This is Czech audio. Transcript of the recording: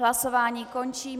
Hlasování končím.